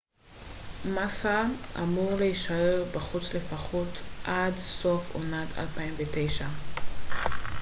מאסה אמור להישאר בחוץ לפחות עד סוף עונת 2009